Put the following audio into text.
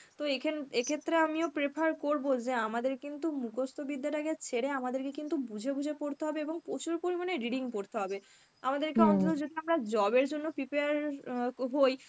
তো এইখেন এই ক্ষেত্রে আমিও prefer করব যে আমাদের কিন্তু মুখস্ত বিদ্যাটাকে ছেড়ে আমাদের কিন্তু বুঝে বুঝে পড়তে হবে এবং প্রচুর পরিমানে reading পড়তে হবে. আমাদের কে অন্তত যেহেতু আমরা job এর জন্য prepare অ্যাঁ হই